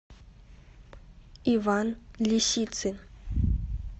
иван лисицын